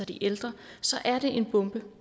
de ældre så er det en bombe